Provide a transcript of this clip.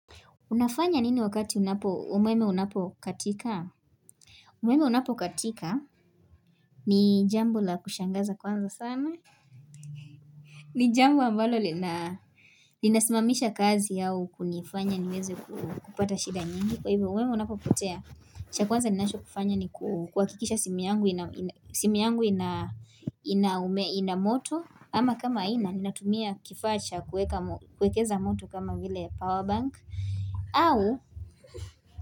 Unafanya nini wakati umeme unapokatika? Umeme unapokatika ni jambo la kushangaza kwanza sana ni jambo ambalo linasimamisha kazi au kunifanya niweze kupata shida nyingi umeme unapokatika ni jambo la kushangaza kwanza sana. Ni jambo ambalo lina, linasimamisha kazi yao kunifanya niweze kupata shida nyingi. Kwa hivyo umeme unapopotea, kitu cha kwanza ninacho kufanya ni kuhakikisha simu yangu ina moto.